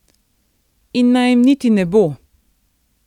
In naj jim niti ne bo.